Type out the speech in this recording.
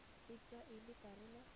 e tsewa e le karolo